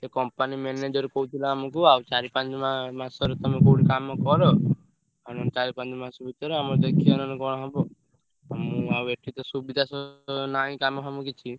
ସେ company manager କହୁଥିଲା ଆମୁକୁ ଆଉ ଚାରି ପାଞ୍ଚ ~ମା ମାସର ତମେ କୋଉଠି କାମ କର। ଆଉ ନହେଲେ ଚାରି ପାଞ୍ଚ ମାସ ଭିତରେ ଆମର ଦେଖିଆ ନହେଲେ କଣ ହବ। ମୁଁ ଆଉ ଏଠି ତ ସୁବିଧା ନାହିଁ କାମ ଫାମ କିଛି।